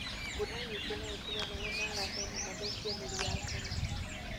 Mbura nyingĩ nũĩtũme maĩ marahe na mathũkie mĩri ya ngano.